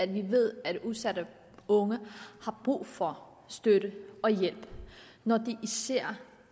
vi ved at udsatte unge har brug for støtte og hjælp når de